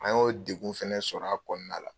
A y'o degu fɛnɛ sɔrɔ a kɔnɔna la